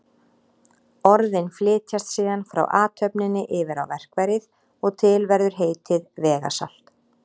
Orðin flytjast síðan frá athöfninni yfir á verkfærið og til verður heitið vegasalt.